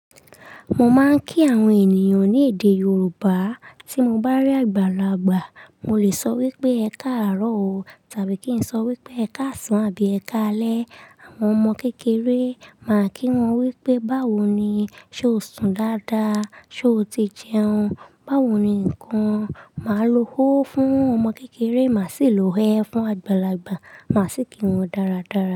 Mo máa ń kí àwọn ènìyàn ní èdè Yorùbá. Tí mo bá rí àgbàlagbà, mo lè sọ wípé "Ẹ káàárọ̀ o" tàbí kí n sọ wípé "Ẹ káàsan" àbí "Ẹ káalẹ́". Àwọn ọmọ kékeré, máa kí wọn wípé "báwo ni? Sé o sùn dáadáa? Sé o ti jẹun? Báwo ni ǹkan?" Máa lo "óó" fún ọmọ kékeré, màá sì lo "é" fún àgbàlagbà, màá sì kí wọn dáradára.